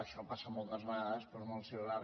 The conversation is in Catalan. això passa moltes vegades però és molt similar